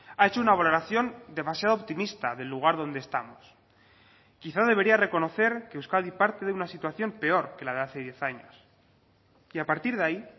ha hecho una valoración demasiado optimista del lugar donde estamos quizá debería reconocer que euskadi parte de una situación peor que la de hace diez años y a partir de ahí